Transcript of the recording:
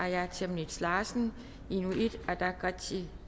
aaja chemnitz larsen inuit ataqatigiit